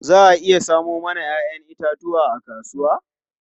Za a iya samo mana 'ya'yan itatuwa a kasuwa?